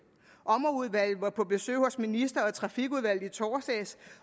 ommerudvalget var på besøg hos ministeren og trafikudvalget i torsdags